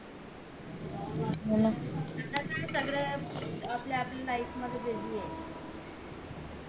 आता काय सगळे आपल्या आपल्या life मध्ये busy ये